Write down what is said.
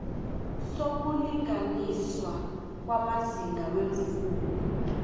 sokulinganiswa kwamazinga weemfundo